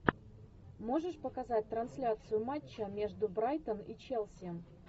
можешь показать трансляцию матча между брайтон и челси